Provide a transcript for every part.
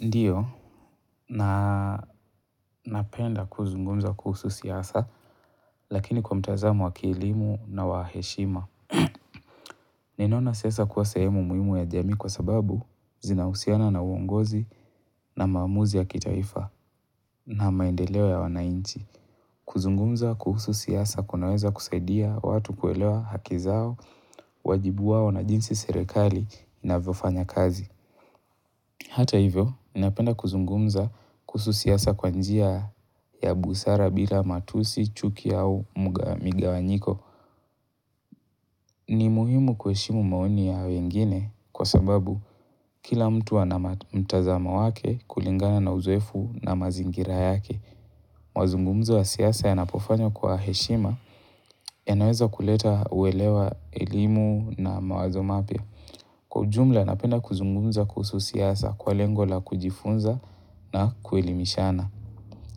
Ndio, napenda kuzungumza kuhusu siasa, lakini kwa mtazamo wakielimu na waheshima. Ninaona siasa kuwa sehemu muhimu ya jamii kwa sababu zinahusiana na uongozi na maamuzi ya kitaifa na maendeleo ya wanainchi. Kuzungumza kuhusu siasa kunaweza kusaidia watu kuelewa haki zao, wajibu wao na jinsi serekali inavyo fanya kazi. Hata hivyo, napenda kuzungumza kuhusu siasa kwa njia ya busara bila matusi, chuki au migawanyiko. Ni muhimu kuheshimu maoni ya wengine kwa sababu kila mtu ana mtazamo wake kulingana na uzoefu na mazingira yake. Mazungumzo wa siasa yanapofanywa kwa heshima yanaweza kuleta uelewa elimu na mawazo mapya. Kwa jumla napenda kuzungumza kuhusu siasa kwa lengo la kujifunza na kuelimishana.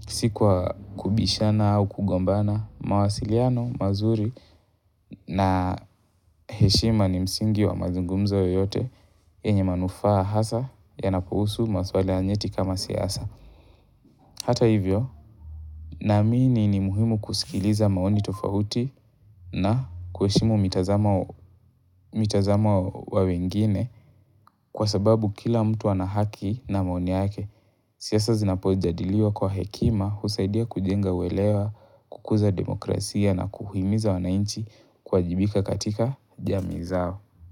Sikuwa kubishana au kugombana, mawasiliano, mazuri na heshima ni msingi wa mazungumzo yoyote yenye manufaa hasa yanapo husu masuala njeti kama siasa. Hata hivyo, naamini ni muhimu kusikiliza maoni tofahuti na kuheshimu mitazamo wa wengine kwa sababu kila mtu ana haki na maoni yake. Siasa zinapo jadiliwa kwa hekima husaidia kujenga welewa kukuza demokrasia na kuhimiza wanainchi kuwajibika katika jamizao.